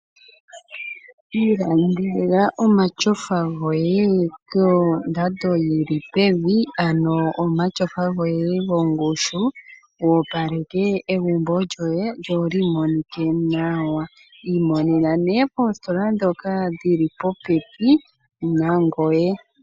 Iilandela omatyofa goye kondando yili pevi ano omatyofa goye gongushu wu opaleke egumbo lyoye lyolimonike nawa. Iimonena ne poositola dhoka dhili popepi nangoye.